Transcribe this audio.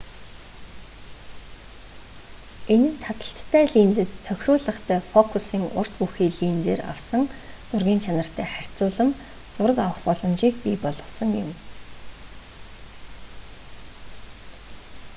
энэ нь таталттай линзэд тохируулгатай фокусын урт бүхий линзээр авсан зургын чанартай харьцуулам зураг авах боломжийг бий болгосон юм